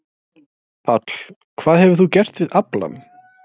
Páll: Hvað hefur þú gert við aflann?